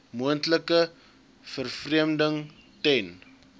moontlike vervreemding ten